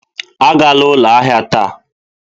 Agala ụlọ ahịa taa!